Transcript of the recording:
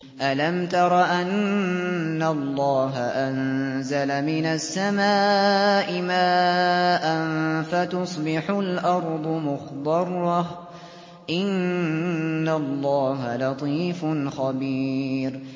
أَلَمْ تَرَ أَنَّ اللَّهَ أَنزَلَ مِنَ السَّمَاءِ مَاءً فَتُصْبِحُ الْأَرْضُ مُخْضَرَّةً ۗ إِنَّ اللَّهَ لَطِيفٌ خَبِيرٌ